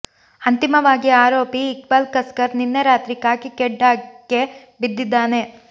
ಅಂತಿಮವಾಗಿ ಆರೋಪಿ ಇಕ್ಬಾಲ್ ಕಸ್ಕರ್ ನಿನ್ನೆ ರಾತ್ರಿ ಖಾಕಿ ಖೆಡ್ಡಾ ಕ್ಕೆ ಬಿದ್ದಿದ್ದಾನೆ